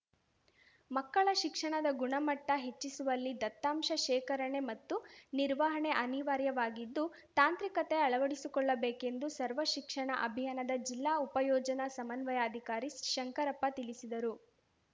ಮಕ್ಕಳ ಶಿಕ್ಷಣದ ಗುಣಮಟ್ಟಹೆಚ್ಚಿಸುವಲ್ಲಿ ದತ್ತಾಂಶ ಶೇಕರಣೆ ಮತ್ತು ನಿರ್ವಹಣೆ ಅನಿವಾರ್ಯವಾಗಿದ್ದು ತಾಂತ್ರಿಕತೆ ಅಳವಡಿಸಿಕೊಳ್ಳಬೇಕೆಂದು ಸರ್ವ ಶಿಕ್ಷಣ ಅಭಿಯಾನದ ಜಿಲ್ಲಾ ಉಪಯೋಜನಾ ಸಮನ್ವಯಾಧಿಕಾರಿ ಶಂಕರಪ್ಪ ತಿಳಿಸಿದರು